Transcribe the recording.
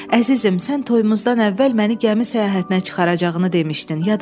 Əzizim, sən toyumuzdan əvvəl məni gəmi səyahətinə çıxaracağını demişdin.